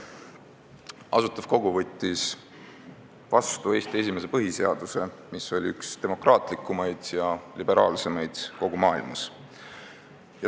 Asutav Kogu võttis vastu Eesti esimese põhiseaduse, mis oli üks demokraatlikumaid ja liberaalsemaid kogu maailmas.